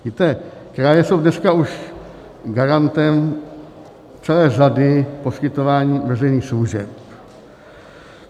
Víte, kraje jsou dneska už garantem celé řady poskytování veřejných služeb.